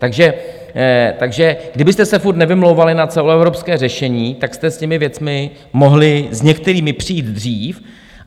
Takže kdybyste se furt nevymlouvali na celoevropské řešení, tak jste s těmi věcmi mohli s některými přijít dřív.